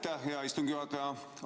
Aitäh, hea istungi juhataja!